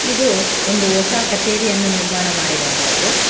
ಇದು ಒಂದು ಹೊಸ ಕಚೇರಿಯನ್ನು ನಿರ್ಮಾಣ ಮಾಡಿರುವಂತದ್ದು--